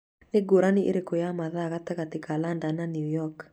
Nĩ ngũrani ĩrĩkũ ya mathaa gatagatĩ ka London na New York?